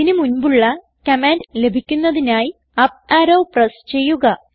ഇതിന് മുൻപുള്ള കമാൻഡ് ലഭിക്കുന്നതിനായി അപ്പ് അറോ പ്രസ് ചെയ്യുക